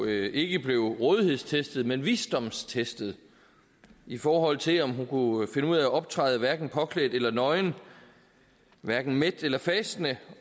ikke blev rådighedstestet men visdomstestet i forhold til om hun kunne finde ud af at optræde hverken påklædt eller nøgen hverken mæt eller fastende